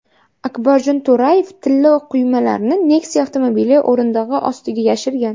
Akbarjon To‘rayev tilla quymalarni Nexia avtomobili o‘rindig‘i ostiga yashirgan.